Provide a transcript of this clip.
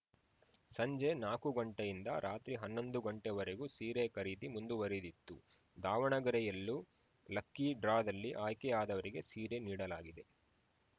ಸಂಜೆ ನಾಕು ಗಂಟೆಯಿಂದ ರಾತ್ರಿ ಹನ್ನೊಂದು ಗಂಟೆವರೆಗೂ ಸೀರೆ ಖರೀದಿ ಮುಂದುವರಿದಿತ್ತು ದಾವಣಗೆರೆಯಲ್ಲೂ ಲಕ್ಕೀ ಡ್ರಾದಲ್ಲಿ ಆಯ್ಕೆ ಆದವರಿಗೆ ಸೀರೆ ನೀಡಲಾಗಿದೆ